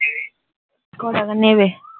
কটাকা নেবে